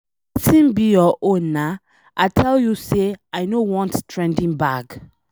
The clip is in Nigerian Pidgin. Wetin be your own na, I tell you say I no want trending bag.